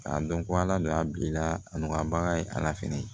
A dɔn ko ala don a bilala a nu ka bagan ye ala fɛnɛ ye